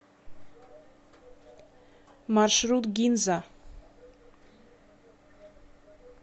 маршрут гинза